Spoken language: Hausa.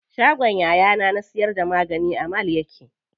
Shagon yayana na siyar da magani a mall yake.